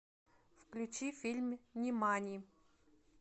включи фильм нимани